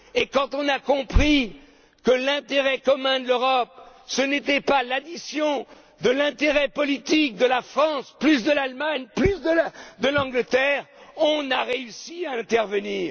je ne sais où... Quand nous avons compris que l'intérêt commun de l'Europe, ce n'était pas l'addition de l'intérêt politique de la France, plus de l'Allemagne, plus de l'Angleterre, nous avons réussi